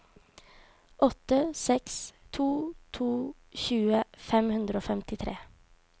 åtte seks to to tjue fem hundre og femtitre